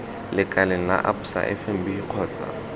lekaleng la absa fnb kgotsa